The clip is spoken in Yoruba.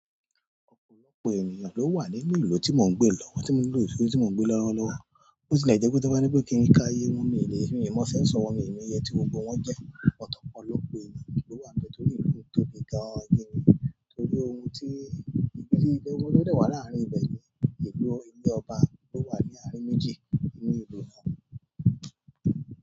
Òpòlọ́pọ̀ ènìyàn ló wà nínú ìlú tí mò ń gbé lọ́wọ́, tí mo ń lò ìṣó tí mò ń gbé lọ́wọ́lọ́wọ́. Bó ti lè jẹ́ kó tó bá ní pé kí n ká iye wọ́n mi lè, mi mọ census wọ́n mi mó iye tí gbogbo wọ́n jẹ́. Ọ̀pọ̀lọ́pọ̀ ènìyàn ló wà níbẹ̀ torí ìlú yìí tóbi gan-an ni. Torí ohun tí ìgbésí ayé wọn lọ́ dẹ̀ wá láàárín ibẹ̀ ni. Ìlú ilé ọba ló wà ní àárín méjì inú ìlú náà.